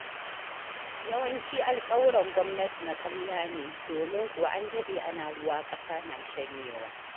Yawancin alƙawuran gwamnati na ƙarya ne, domin kuwa an daɗe ana ruwa, ƙasa na shanyewa.